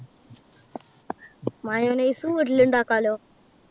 mayonnaise വീട്ടിലിണ്ടാക്കാലോ?